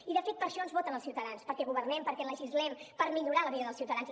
i de fet per això ens voten els ciutadans perquè governem perquè legislem per millorar la vida dels ciutadans